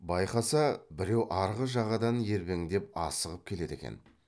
байқаса біреу арғы жағадан ербеңдеп асығып келеді екен